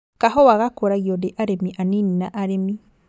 Kahũa gakũragio nĩ arĩmi anini na arĩmi